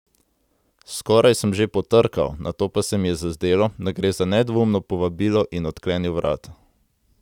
Skoraj sem že potrkal, nato pa se mi je zazdelo, da gre za nedvoumno povabilo, in odklenil vrata.